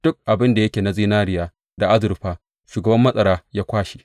Duk abin da yake na zinariya da azurfa, shugaban matsara ya kwashe.